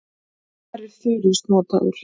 Hvar er þurrís notaður?